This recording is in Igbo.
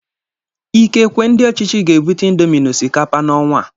Ikekwe ndị ọchịchị ga-ebute índomi na osikapa na ọnwa a